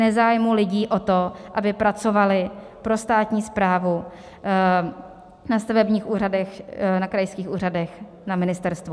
Nezájmu lidí o to, aby pracovali pro státní správu na stavebních úřadech, na krajských úřadech, na ministerstvu.